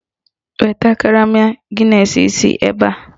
Weta karama gịnesị isii ebe a!